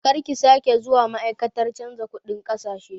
Karki sake zuwa ma'aikatar canza kuɗin ƙasashe!